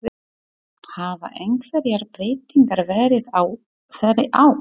Hafa einhverjar breytingar verið á þeirri á?